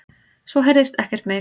Svo heyrðist ekkert meir.